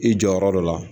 I jɔ yɔrɔ dɔ la